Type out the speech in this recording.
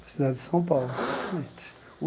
Para a cidade de São Paulo, exatamente.